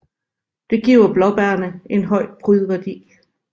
Det giver blåbærene en høj prydværdi